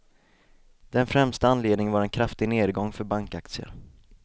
Den främsta anledningen var en kraftig nedgång för bankaktier.